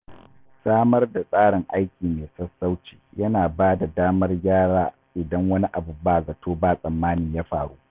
Samar da tsarin aiki mai sassauci yana ba da damar gyara idan wani abu ba zato ba tsammani ya faru.